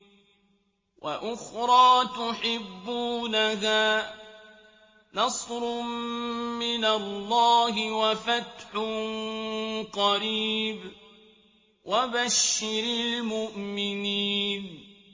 وَأُخْرَىٰ تُحِبُّونَهَا ۖ نَصْرٌ مِّنَ اللَّهِ وَفَتْحٌ قَرِيبٌ ۗ وَبَشِّرِ الْمُؤْمِنِينَ